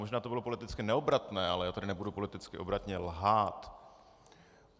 Možná to bylo politicky neobratné, ale já tady nebudu politicky obratně lhát.